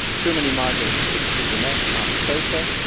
Too many migrants slip through the net unprocessed.